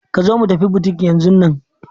Ka zo mu tafi butik yanzun nan!